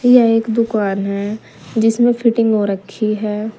यह एक दुकान है जिसमे फिटिंग हो रखी है।